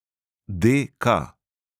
D K.